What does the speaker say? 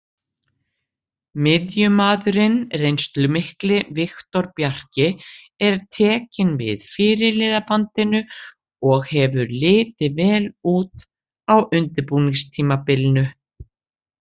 Miðjumaðurinn reynslumikli Viktor Bjarki er tekinn við fyrirliðabandinu og hefur litið vel út á undirbúningstímabilinu.